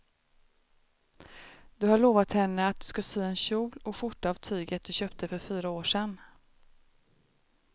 Du har lovat henne att du ska sy en kjol och skjorta av tyget du köpte för fyra år sedan.